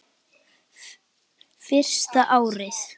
Fyrsta árið.